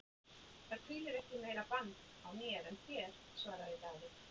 Það hvílir ekki meira bann á mér en þér, svaraði Daði.